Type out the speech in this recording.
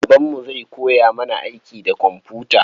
Babanmu zai koya mana aiki da komfuta.